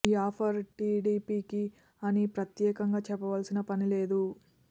ఈ ఆఫర్ టీడీపీకి అని ప్రత్యేకంగా చెప్పవలసిన పని లేదు